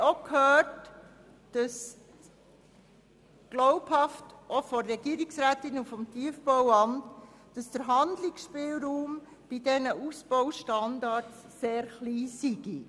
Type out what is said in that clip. Zudem haben uns Regierungsrätin Egger und das Tiefbauamt glaubhaft versichert, dass der Handlungsspielraum bezüglich der Ausbaustandards sehr gering sei.